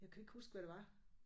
Jeg kan ikke huske hvad det var